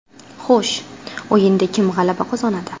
Xo‘sh, o‘yinda kim g‘alaba qozonadi?